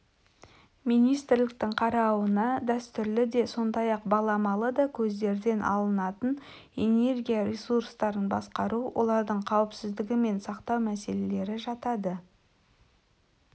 министрліктің қарауына дәстүрлі де сондай-ақ баламалы да көздерден алынатын энергия ресурстарын басқару олардың қауіпсіздігі мен сақтау мәселелері жатады